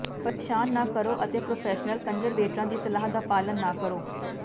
ਪਰੇਸ਼ਾਨ ਨਾ ਕਰੋ ਅਤੇ ਪ੍ਰੋਫੈਸ਼ਨਲ ਕੰਜ਼ਰਵੇਟਰਾਂ ਦੀ ਸਲਾਹ ਦਾ ਪਾਲਣ ਨਾ ਕਰੋ